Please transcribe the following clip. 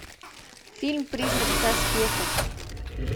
фильм призрак в доспехах